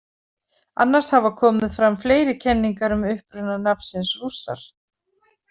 Annars hafa komið fram fleiri kenningar um uppruna nafnsins Rússar.